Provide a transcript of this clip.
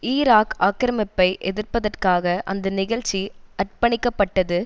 Iraq ஆக்கிரமிப்பை எதிர்ப்பதற்காக அந்த நிகழ்ச்சி அற்பணிக்கப்பட்டது